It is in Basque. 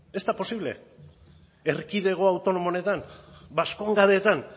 ez da posible erkidego autonomo honetan baskongadetan